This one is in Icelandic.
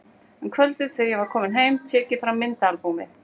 Um kvöldið þegar ég er kominn heim tek ég fram myndaalbúmið.